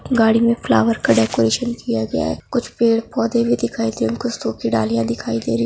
गाड़ी मे फ्लॉवर का डेकोरैशन किया गया है कुछ पेड़-पोधे भी दिखाई दे कुछ सुखी डालिया दिखाई दे रही --